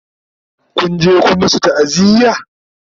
Kun je Kun masu ta'aziya?